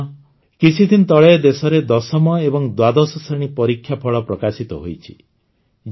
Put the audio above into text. ସାଥିଗଣ କିଛିଦିନ ତଳେ ଦେଶରେ ୧୦ମ ଏବଂ ଦ୍ୱାଦଶ ଶ୍ରେଣୀ ପରୀକ୍ଷାଫଳ ପ୍ରକାଶିତ ହୋଇଛି